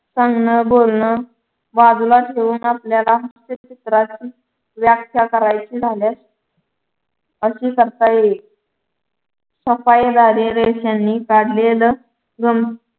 सांगण बोलण बाजूला ठेवून आपल्याला व्याख्या करायची झाल्यास अशीच चवताळली सफाई गाडी रेषांनी काढलेलं